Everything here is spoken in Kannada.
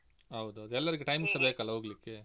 ಹೌದೌದು ಎಲ್ಲರಿಗೂ times ಸಾ ಬೇಕಲ್ಲಾ ಹೋಗ್ಲಿಕ್ಕೆ.